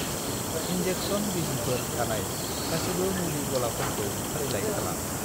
Injection बिजिफोर थानाय गासिबो मुलि गलाफोरफोरखौ फारिलाइ खालाम।